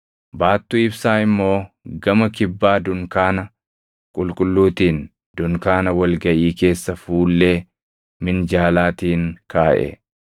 Baattuu ibsaa immoo gama kibbaa dunkaana qulqulluutiin dunkaana wal gaʼii keessa fuullee minjaalaatiin kaaʼe.